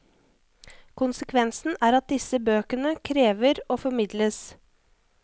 Konsekvensen er at disse bøkene krever å formidles.